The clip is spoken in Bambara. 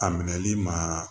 A minɛli ma